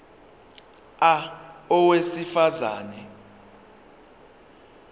a owesifaz ane